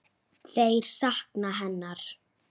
Þeir sakna hennar.